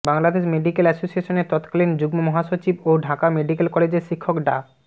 Bangladesh medical এসোসিয়েশনের তৎকালীন যুগ্মমহাসচিব ও ঢাকা মেডিকেল কলেজের শিক্ষক ডা